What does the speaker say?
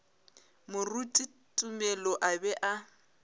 moruti tumelo a be a